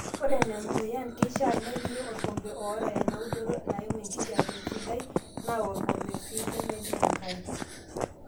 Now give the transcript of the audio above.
Ore Nena muyan, keishaa nepiki orkompe oota enaudoto naimu enkijape sidai naa orkompe sii lemejing' enkare.